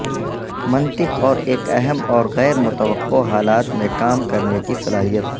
منطق اور ایک اہم اور غیر متوقع حالات میں کام کرنے کی صلاحیت